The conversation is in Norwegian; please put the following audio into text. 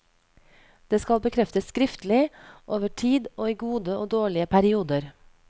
Det skal bekreftes skriftlig, over tid og i gode og dårlige perioder.